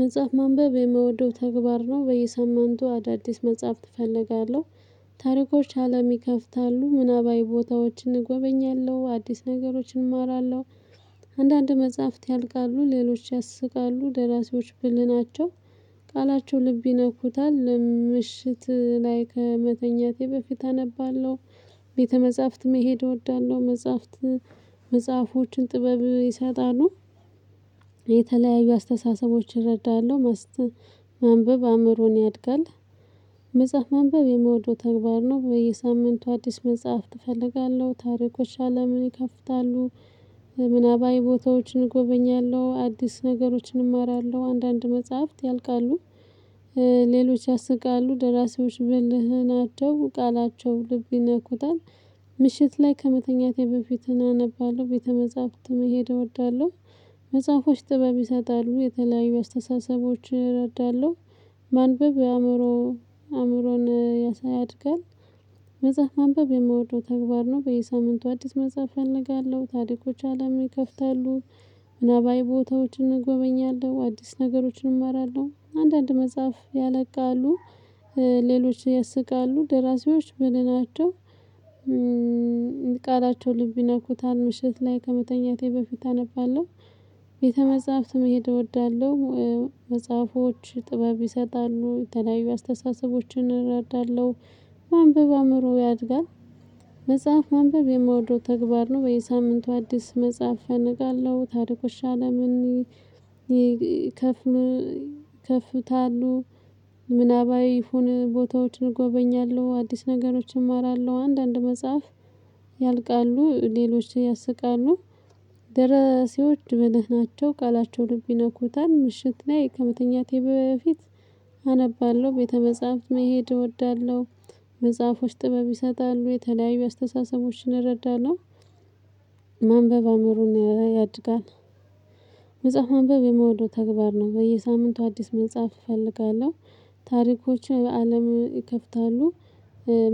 መጽሐፍ ማንበብ የምወደው ተግባር ነው በየሰማንቱ አዳዲስ መጽሐፍት እፈልጋለሁ ታሪኮች አለም ይከፍታሉ ምናባዊ ቦታዎችን እጎበኛለሁ አዲስ ነገሮችን እማራለሁ። አንዳንድ መጽሐፍት ያልቃሉ ሌሎች ያስቃሉ ደራሲዎች ብልህ ናቸው። ቃላቸው ልብ ይነኩታል ምሽት ላይ ከመተኛቴ በፊት አነባለሁ። ቤተ መጽሐፍት መሄድ እወዳለሁ መጽሐፍት። መጽሐፎችን ጥበብ ይሰጣሉ። የተለያዩ አስተሳሰቦችን እረዳለሁ። ማንበብ አእምሮን ያድጋል። መጽሐፍ ማንበብ የመውደው ተግባር ነው በየሳምንቱ አዲስ መጽሐፍ ትፈልጋለህ ታሪኮች አለምን ይከፍታሉ። ምናባዊ ቦታዎችን እጎበኛለሁ አዲስ ነገሮችን እማራለሁ አንዳንድ መጽሐፍት ያልቃሉ። ሌሎች ያስቃሉ ደራሲዎች ብልህና ናቸው ቃላቸው ልብ ይነኩታል። ምሽት ላይ ከመተኛቴ በፊት እናነባለሁ ቤተ መጽሐፍት መሄድ እወዳለሁ። መጽሐፎች ጥበብ ይሰጣሉ የተለያዩ አስተሳሰቦች እረዳለሁ። ማንበብ የአእምሮ አእምሮን ያሳድጋል። መጽሐፍ ማንበብ የምወደው ተግባር ነው በየሳምንቱ አዲስ መጽሐፍ እፈልጋለሁ ታሪኮች አለም ይከፍታሉ። ምናባዊ ቦታዎችን እጎበኛለሁ አዲስ ነገሮችን እመራለሁ አንዳንድ መጽሐፍ ያለቃሉ። ሌሎች ያስቃሉ ደራሲዎች ብልህ ናቸው። ቃላቸው ልብ ይነኩታል ምሽት ላይ ከመተኛቴ በፊት አነባለሁ። ቤተ መጽሐፍት መሄድ እወዳለሁ። መጽሐፎች ጥበብ ይሰጣሉ የተለያዩ አስተሳሰቦችን እረዳለሁ። ማንበብ አእምሮ ያድጋል። መጽሐፍ ማንበብ የምወደው ተግባር ነው በየሳምንቱ አዲስ መጽሐፍ እፈልጋለሁ ታሪኮች አለምን ይከፍታሉ። ምናባዊ የሆነ ቦታዎችን እጎበኛለሁ አዲስ ነገሮችን እማራለሁ አንዳንድ መጽሐፍ ያልቃሉ። ሌሎች ያስቃሉ። ደራሲዎች ብልህ ናቸው ቃላቸው ልብ ይነኩታል ምሽት ላይ ከመተኛቴ በፊት። አነባለሁ ቤተ መጽሐፍት መሄድ እወዳለሁ። መጽሐፎች ጥበብ ይሰጣሉ የተለያዩ አስተሳሰቦችን እረዳለሁ። ማንበብ አእምሮን ያድጋል። መጽሐፍ ማንበብ የምውደው ተግባር ነው በየሳምንቱ አዲስ መጻፍ እፈልጋለሁ። ታሪኮች በአለም ይከፍታሉ።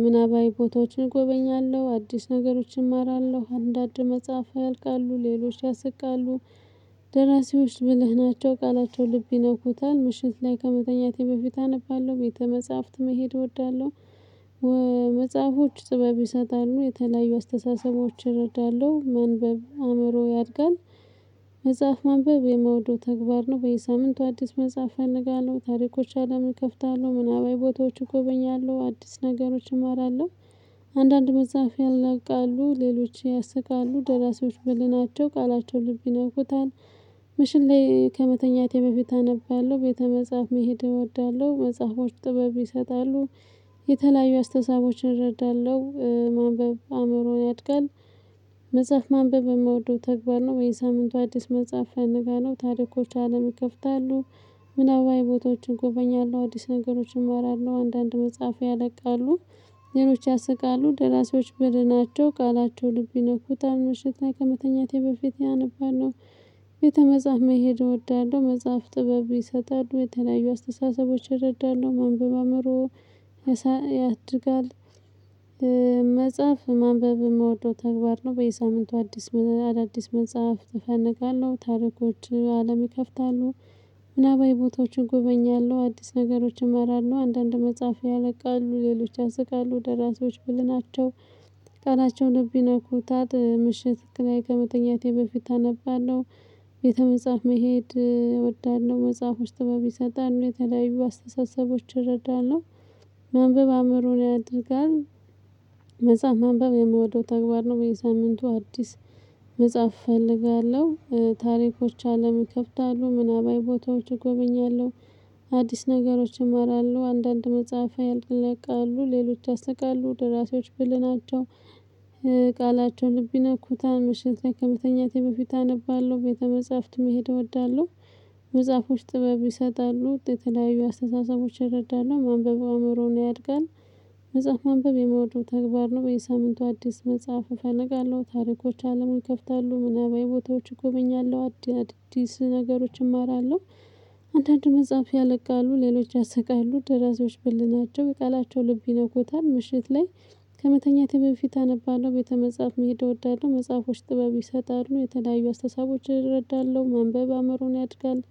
ምናባዊ ቦታዎችን እጎበኛለሁ አዲስ ነገሮችን እማራለሁ አንዳንድ መጽሐፍ ያልቃሉ ሌሎች ያስቃሉ። ደራሲዎች ብለህ ናቸው ቃላቸው ልብ ይነኩታል ምሽት ላይ ከመተኛቴ በፊት አነባለሁ ቤተ መጽሐፍት መሄድ እወዳለሁ። መጽሐፎች ጥበብ ይሰጣሉ የተለያዩ አስተሳሰቦችን እረዳለሁ ማንበብ አእምሮ ያድጋል። መጽሐፍ መንበብ የምውደው ተግባር ነው በየሳምንቱ አዲስ መጽሐፍ እፈልጋለሁ ታሪኮች አለምን ይከፍታለሁ ምናባዊ ቦታዎች እጎበኛለሁ አዲስ ነገሮች እማራለሁ። አንዳንድ መጽሐፍ ያለቃሉ ሌሎች ያስቃሉ ደራሲዎች ብልህ ናቸው ቃላቸው ልብ ይነኩታል። ምሽት ላይ ከመተኛቴ በፊት አነባለሁ ቤተ መጽሐፍ መሄድ እወዳለሁ መጽሐፎች ጥበብ ይሰጣሉ። የተለያዩ አስተሳሰቦችን እረዳለሁ ማንበብ አእምሮን ያድጋል። መጽሐፍ ማንበብ የምወደው ተግባር ነው በየ ሳምንቱ አዲስ መጽሐፍ እፈልጋለሁ ታሪኮች አለም ይከፍታሉ። ምናባዊ ቦታዎችን እጎበኛለሁ አዲስ ነገሮችን እመራለሁ አንዳንድ መጽሐፍ ያለቃሉ። ሌሎች ያስቃሉ ደራሲዎች ብልህ ናቸው ቃላቸው ልብ ይነኩታል ምሽት ከመተኛቴ በፊት አነባለሁ። ቤተ መጽሐፍ መሄድ እወዳለሁ መጽሐፍ ጥበብ ይሰጣሉ የተለያዩ አስተሳሰቦች ይረዳሉ ማንበብ አአምሮ ያሳድጋል። መጽሐፍ ማንበብ የምወደው ተግባር ነው በየሳምንቱ አዲስ አዳዲስ መጽሐፍ እፈልጋለሁ ታሪኮች አለም ይከፍታሉ። ምናባዊ ቦታዎችን እጎበኛለሁ አዲስ ነገሮች እመራለሁ አንዳንድ መጽሐፍ ያለቃሉ ሌሎች ያስቃሉ ደራሲዎች ብልህ ናቸው። ቃላቸውን ልብ ይነኩታል ምሽት ላይ ከመተኛቴ በፊት አነባለሁ። ቤተ መጽሐፍ መሄድ እወዳለሁ መጽሐፍ ውስጥ በሚሰጠን የተለያዩ አስተሳሰቦች እረዳለሁ። ማንበብ አእምሮን ያድጋል። መጽሐፍ ማንበብ የምወደው ተግባር ነው በየሳምንቱ አዲስ መጽሐፍ እፈልጋለሁ። ታሪኮች አለም ይከፍታሉ ምናባዊ ቦታዎች እጎበኛለሁ። አዲስ ነገሮች ይማራሉ አንዳንድ መጽሐፍ ያልቃሉ ሌሎች ያስቃሉ ደራሲዎች ብልህ ናቸው። ቃላቸው ልብ ይነኩታል ምሽት ላይ ከመተኛቴ በፊት አነባለሁ ቤተ መጽሐፍት መሄድ እወዳለሁ። መጽሐፎች ጥበብ ይሰጣሉ የተለያዩ አስተሳሰቦች ይረዳሉ ማንበብ አእምሮን ያድጋል። መጽሐፍ ማንበብ የምወደው ተግባር ነው በየሳምንቱ አዲስ መጽሐፍ እፈልግለሁ ታሪኮች አለምን ይከፍታሉ ምናባዊ ቦታዎች እጎበኛለሁ አዲስ ነገሮች እማራለሁ። አንዳንድ መጽሐፍ ያለቃሉ ሌሎች ያስቃሉ ደራሲዎች ብልህ ናቸው ቃላቸው ልብ ይነኩታል ምሽት ላይ። ከመተኛቴ በፊት አነባለሁ ቤተ መጽሐፍ መሄድ እወዳለሁ መጽሐፎች ጥበብ ይሰጣሉ የተለያዩ አስተሳሰቦች እረዳለሁ ማንበብ አእምሮን ያድጋል።